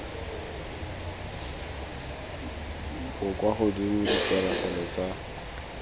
bo kwa godimo dipegelo tsa